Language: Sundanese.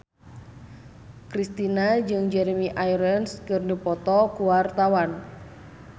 Kristina jeung Jeremy Irons keur dipoto ku wartawan